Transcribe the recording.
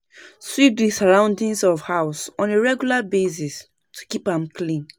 Sweep di surrounding of house on a regular basis to keep am clean